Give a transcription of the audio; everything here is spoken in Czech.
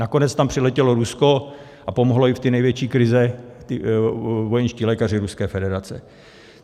Nakonec tam přiletělo Rusko a pomohli jim z té největší krize vojenští lékaři Ruské federace.